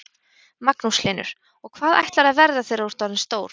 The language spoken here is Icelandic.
Magnús Hlynur: Og hvað ætlarðu að verða þegar þú ert orðin stór?